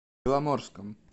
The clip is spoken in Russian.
беломорском